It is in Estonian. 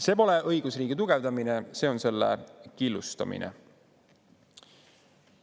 See pole õigusriigi tugevdamine, see on selle killustamine.